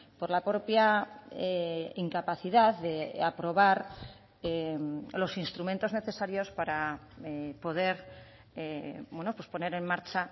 por la propia incapacidad de aprobar los instrumentos necesarios para poder poner en marcha